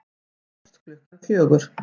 Hann hófst klukkan fjögur.